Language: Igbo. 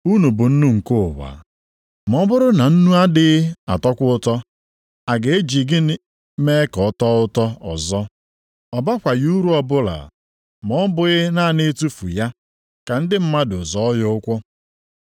“Unu bụ nnu nke ụwa, ma ọ bụrụ na nnu adịghị atọkwa ụtọ, a ga-eji gịnị mee ka ọ tọọ ụtọ ọzọ? Ọ bakwaghị uru ọbụla, ma ọ bụghị naanị itufu ya, ka ndị mmadụ zọọ ya ụkwụ.